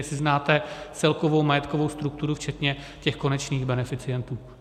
Jestli znáte celkovou majetkovou strukturu včetně těch konečných beneficientů.